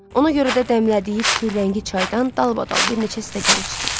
Ona görə də dəmlədiyi pürrəngi çaydan dalbadal bir neçə stəkan içdi.